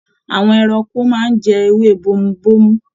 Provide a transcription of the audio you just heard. Àwọn ẹranko máa n jẹ ewé bomubomu.